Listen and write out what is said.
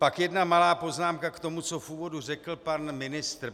Pak jedna malá poznámka k tomu, co v úvodu řekl pan ministr.